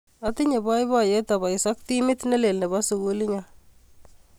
Atinye poipoyet apois ak timit ne lel ne po sukulit nyo.